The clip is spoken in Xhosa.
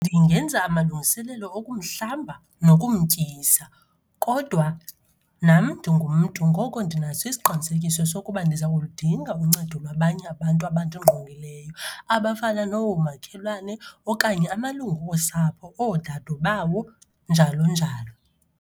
Ndingenza amalungiselelo okumhlamba nokumtyisa. Kodwa nam ndingumntu ngoko ndinaso isiqinisekiso sokuba ndiza kuludinga uncedo lwabanye abantu abandingqongileyo abafana noomakhelwane okanye amalungu osapho, oodadobawo, njalo njalo.